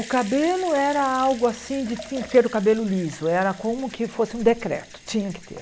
O cabelo era algo assim de tinha que ter o cabelo liso, era como que fosse um decreto, tinha que ter.